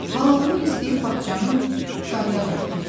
Halallıq istəyib bağçanı qarıya qaytardı.